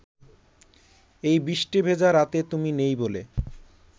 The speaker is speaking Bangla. এই বৃষ্টি ভেজা রাতে তুমি নেই বলে